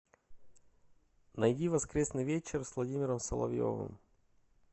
найди воскресный вечер с владимиром соловьевым